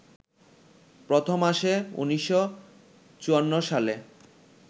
প্রথম আসে ১৯৫৪ সালে